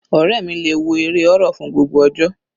Ọ̀rẹ́ mi le wo eré horror fún gbogbo ọjọ́.